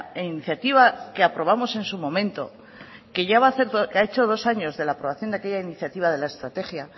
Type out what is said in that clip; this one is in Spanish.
iniciativa que aprobamos en su momento que ha hecho ya dos años de la aprobación de aquella iniciativa de la estrategia